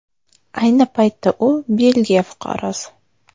Ayni paytda u Belgiya fuqarosi.